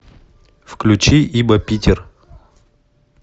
включи ибо питер